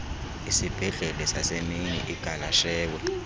isibhedlele sasemini igaleshewe